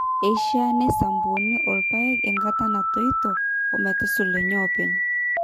eshiaa neisampuni irrpaek enkata natoito ometusulunye oopeny